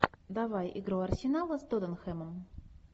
давай игру арсенала с тоттенхэмом